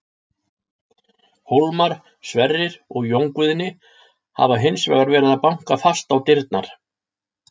Hólmar, Sverrir og Jón Guðni hafa hins vegar verið að banka fast á dyrnar.